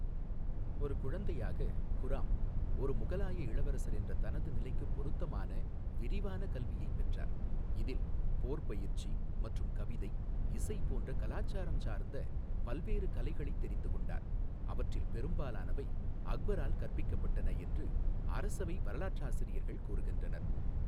ஒரு குழந்தையாக, குராம் ஒரு முகலாய இளவரசர் என்ற தனது நிலைக்கு பொருத்தமான விரிவான கல்வியைப் பெற்றார், இதில் போர் பயிற்சி மற்றும் கவிதை, இசை போன்ற கலாசாரம் சார்ந்த பல்வேறு கலைகளைத் தெரிந்துகொண்டார், அவற்றில் பெரும்பாலானவை அக்பரால் கற்பிக்கப்பட்டன என்று அரசவை வரலாற்றாசிரியர்கள் கூறுகின்றனர்.